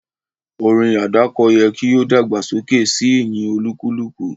Orin àdáko yẹ ki o dàgbàsókè si ìyìn olúkúlùkù